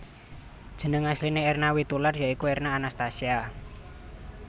Jeneng asliné Erna Witoelar ya iku Erna Anastasia